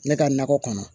Ne ka nakɔ kɔnɔ